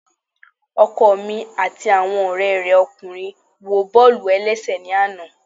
Ọkọ mi ati awọn ọrẹ rẹ ọkunrin wo bọọlu ẹlẹṣẹ ni ana.